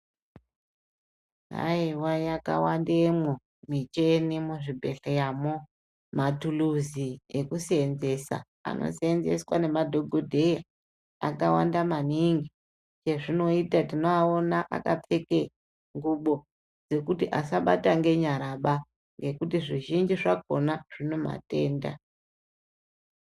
Aiwa yakawandemwo michini muzvibhedhleya mwo matuluzi ekuseenzesa anoseenzeswa ngemadhokodheya akawanda maningi hezvinoita tinoaona akapfeke ngubo dzekuti asabata ngenyara ba ngekuti zvizhinji zvakona zvine matenda.